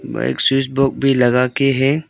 वहां एक switch board भी लगा के है।